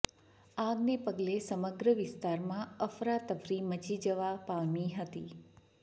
આગને પગલે સમગ્ર વિસ્તારમાં અફરા તફરી મચી જવા પામી હતી